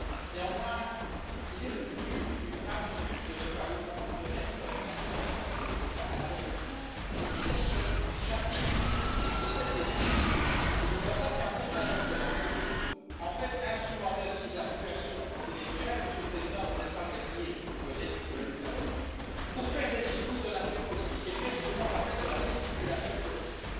Néanmoins, il est devenu une habitude de ce Parlement de mettre la situation au Venezuela à l'ordre du jour de presque chacune de ses plénières et je constate qu'un certain nombre d'entre nous, en fait, instrumentalisent la situation dans ce pays vous même, Monsieur le Président, vous n'êtes pas le dernier, vous venez juste de le faire pour faire des discours de nature politique et faire ce que moi j'appelle de la gesticulation politique.